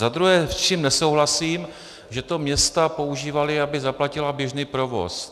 Za druhé, s čím nesouhlasím, že to města používala, aby zaplatila běžný provoz.